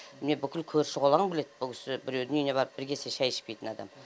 міне бүкіл көрші қолаң біледі бұл кісі біреудің үйіне барып бірі кесе шай ішпейтін адам